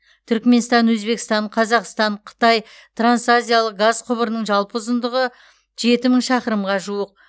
түрікменстан өзбекстан қазақстан қытай трансазиялық газ құбырының жалпы ұзындығы жеті мың шақырымға жуық